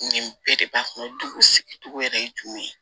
Nin bɛɛ de b'a kɔnɔ dugu sigi sigi cogo yɛrɛ ye jumɛn ye